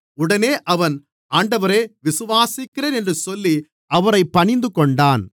உடனே அவன் ஆண்டவரே விசுவாசிக்கிறேன் என்று சொல்லி அவரைப் பணிந்துகொண்டான்